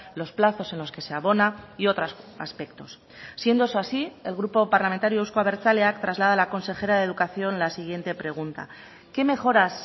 los plazos en los que se abona y otros aspectos siendo eso así el grupo parlamentario euzko abertzaleak traslada a la consejera de educación la siguiente pregunta qué mejoras